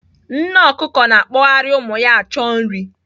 Nne ọkụkọ na-akpọgharị ụmụ ya achọ nri.